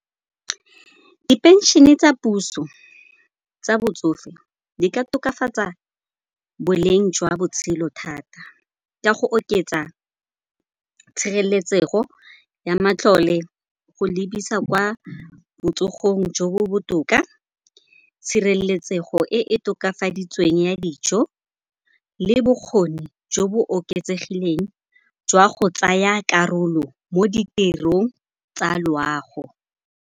Diphenšene tsa puso tsa botsofe di ka tokafatsa boleng jwa botshelo thata ka go oketsa tshireletsego ya matlole go lebisa kwa botsogong jo bo botoka, tshireletsego e e tokafaditsweng ya dijo le bokgoni jo bo oketsegileng jwa go tsaya karolo mo ditirong tsa loago.